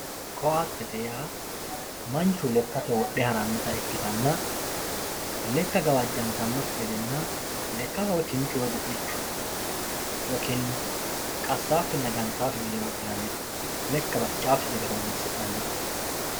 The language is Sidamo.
Koatette yaa manchu lekate wodhe haranotta ikkitanna leka gawajjantanokki gedenna leka kinchu woyi gufichu woyi kinna qasakinna gantawokki gede wodhinanite, leka baccaakki gede horonsi'nanite